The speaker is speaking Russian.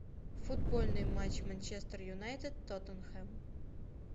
футбольный матч манчестер юнайтед тоттенхэм